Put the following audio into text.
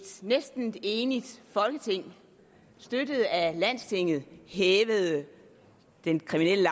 næsten enigt folketing støttet af landstinget hævede den kriminelle